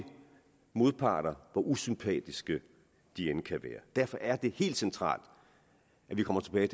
modparter hvor usympatiske de end kan være derfor er det helt centralt at vi kommer tilbage